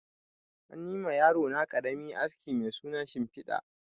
Anyi ma yarona ƙarami aski mai suna shimfiɗa